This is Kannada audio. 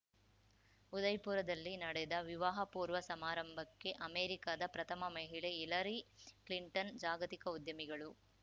ಉದಯ್‌ಪುರದಲ್ಲಿ ನಡೆದ ವಿವಾಹ ಪೂರ್ವ ಸಮಾರಂಭಕ್ಕೆ ಅಮೆರಿಕದ ಪ್ರಥಮ ಮಹಿಳೆ ಹಿಲರಿ ಕ್ಲಿಂಟನ್‌ ಜಾಗತಿಕ ಉದ್ಯಮಿಗಳು